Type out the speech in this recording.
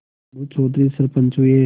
अलगू चौधरी सरपंच हुए